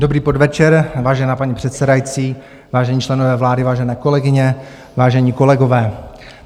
Dobrý podvečer, vážená paní předsedající, vážení členové vlády, vážené kolegyně, vážení kolegové.